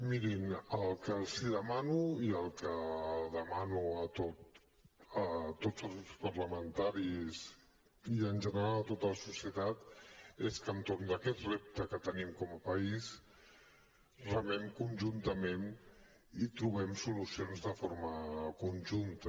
mirin el que els demano i el que demano a tots els grups parlamentaris i en general a tota la societat és que entorn d’aquest repte que tenim com a país remem conjuntament i trobem solucions de forma conjunta